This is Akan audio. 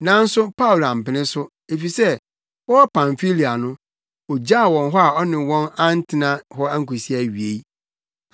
nanso Paulo ampene so, efisɛ wɔwɔ Pamfilia no ogyaw wɔn hɔ a ɔne wɔn antena hɔ ankosi awiei.